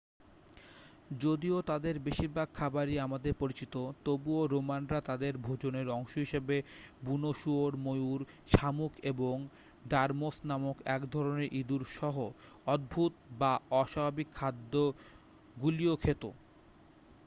যদিও তাদের বেশিরভাগ খাবারই আমাদের পরিচিত তবুও রোমানরা তাদের ভোজনের অংশ হিসাবে বুনো শুয়োর ময়ূর শামুক এবং ডর্মোস নামক এক ধরণের ইঁদুর সহ অদ্ভুত বা অস্বাভাবিক খাদ্য গুলিও খেত